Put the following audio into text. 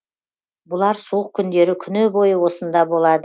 бұлар суық күндері күні бойы осында